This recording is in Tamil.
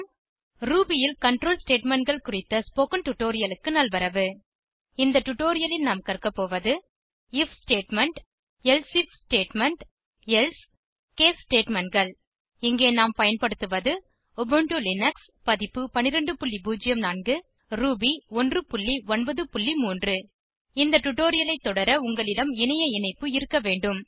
ரூபி ல் கன்ட்ரோல் Statementகள் குறித்த ஸ்போகன் டுடோரியலுக்கு நல்வரவு இந்த டுடோரியலில் நாம் கற்கபோவது IF statement elsif statement else case statementகள் இங்கே நாம் பயன்படுத்துவது உபுண்டு லினக்ஸ் பதிப்பு 1204 ரூபி 193 இந்த டுடோரியலை தொடர உங்களிடம் இணைய இணைப்பு இருக்க வேண்டும்